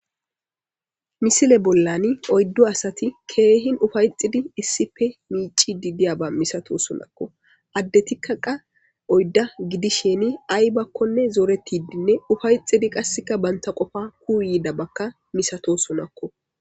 misile bollani oyddo asati keehin ufayxidi issipe miicidi diyaba misatosunakko addetikka qa oydda gidisheni ay bakkonne zooretidinne ufayxidi qasseka banta qofa kuu yiida bakka misato sunakko